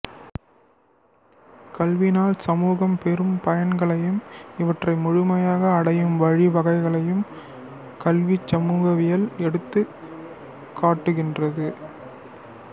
கல்வியினால் சமூகம் பெறும் பயன்களையும் இவற்றை முழுமையாக அடையும் வழி வகைகளையும் கல்விச் சமூகவியல் எடுத்துக் காட்டுகின்றது